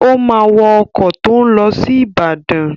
Ó máa wọ ọkọ̀ tó ń lọ sí Ìbàdàn.